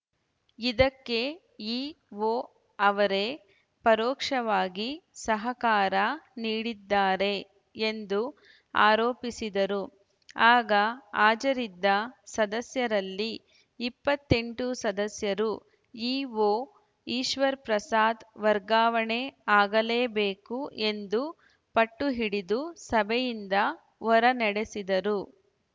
ಇದಕ್ಕೆ ಇಒ ಅವರೇ ಪರೋಕ್ಷವಾಗಿ ಸಹಕಾರ ನೀಡಿದ್ದಾರೆ ಎಂದು ಆರೋಪಿಸಿದರು ಆಗ ಹಾಜರಿದ್ದ ಸದಸ್ಯರಲ್ಲಿ ಇಪ್ಪತ್ತೆಂಟು ಸದಸ್ಯರು ಇಒ ಈಶ್ವರಪ್ರಸಾದ್‌ ವರ್ಗಾವಣೆ ಆಗಲೇ ಬೇಕು ಎಂದು ಪಟ್ಟುಹಿಡಿದು ಸಭೆಯಿಂದ ಹೊರನಡೆಸಿದರು